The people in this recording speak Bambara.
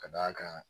Ka d'a kan